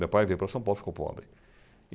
Meu pai veio para São Paulo e ficou pobre.